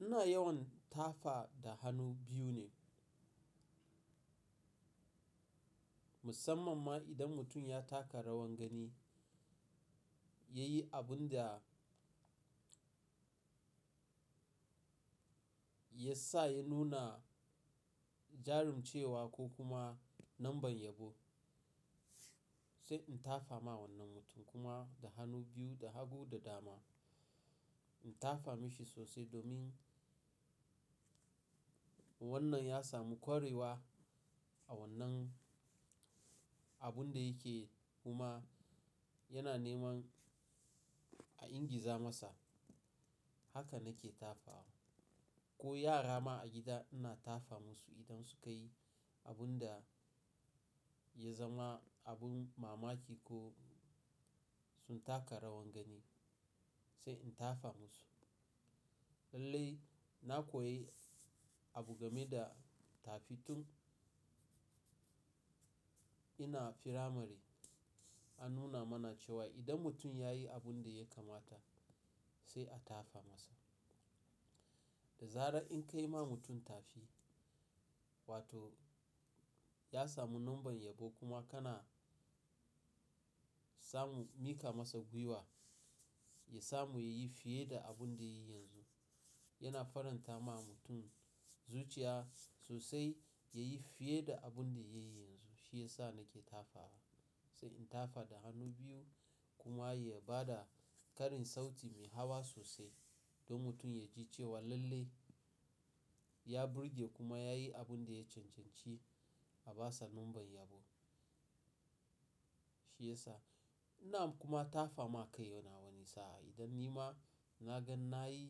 Ina yawan tafa da hannu biyu ne. Musamman ma idan mutum ya taka rawan gani, ya yi abun da ya sa ya nuna jarumcewa ko kuma numban yabo, sai in tafa ma wannan mutum kuma da hannu biyu da hagu da dama. In tafa mashi sosai domin wannan ya samu kwarewa a wannan abun da yake yi kuma yana neman a ingiza masa. Haka nake tafawa. Ko yara ma a gida ina tafa musu idan su ka yi abun da ya zama abin mamaki ko sun taka rawan gani, sai in tafa musu. Lallai na koyi abu game da tafi tun ina firamare. An nuna mana cewa idan mutum ya yi abun da ya kamata, sai a tafa masa. Da zarar in ka yi ma mutum tafi, wato ya samu numban yabo kuma kana samu mika masa gwiwa, ya samu ya yi fiye da abun da ya yi yanzu. Yana faranta ma mutum zuciya sosai ya yi fiye da abun da ya yi yanzu. Shi ya sa nake tafawa. Sai in tafa da hannu biyu kuma ya ba da karin sauti mai hawa sosai don mutum ya ji cewa lallai ya burge kuma ya yi abun da ya cancanci a ba sa numban yabo. Shi ya sa ina kuma tafa ma kai wani sa'a. Idan ni ma na ga na yi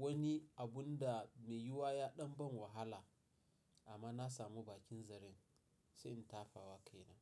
wani abun da mai yuwa ya ɗan ban wahala amma na samu bakin zare, sai in tafa wa kaina.